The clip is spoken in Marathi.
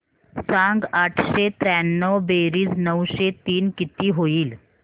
सांग आठशे त्र्याण्णव बेरीज नऊशे तीन किती होईल